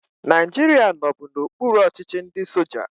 Naijiria nọbu n'okpuru ọchịchị ndị soja